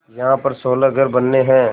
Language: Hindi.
यहाँ पर सोलह घर बनने हैं